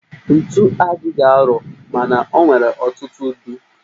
Ntu adịghị arọ mana o nwere ọtụtụ ụdị